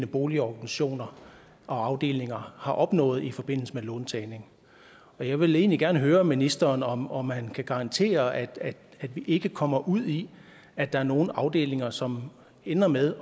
boligorganisationer og afdelinger har opnået i forbindelse med låntagning jeg vil egentlig gerne høre ministeren om om han kan garantere at vi ikke kommer ud i at der er nogle afdelinger som ender med